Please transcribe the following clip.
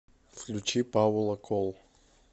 включи паула кол